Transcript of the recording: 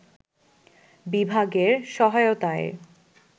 বিভাগের সহায়তায়